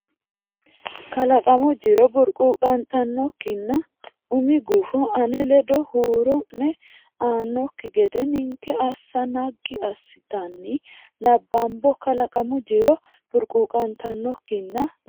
Kalaqamu jiro burquuqantannokkinna umi gufo ane ledo huuro ne ba anokki gede ninke assa naggi assatenni nabbambo Kalaqamu jiro burquuqantannokkinna.